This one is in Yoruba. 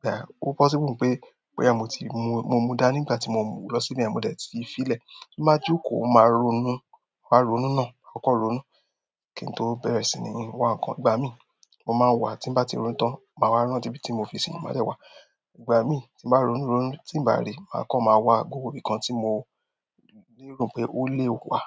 Pe ah, kó possible pé, boya mo tí mo mú, mo mú dá nígbà tí mo lọ sí ibẹ̀ yen, mo dẹ̀ ti fi lè. Bí màá jókòó, mó máa ronú, máa ronú náà, ma kan ronú. Ki n to bẹrẹ si ni wa nkan igbamii mo maa n wa timba ti ronu tan ma wa rántí ibi ti mo fi si ma de wa igbamii ti n ba ronu ronu ti n ba ri, makan ma wa gbogbo ibi kan ti mo ni ero wípé o le wa.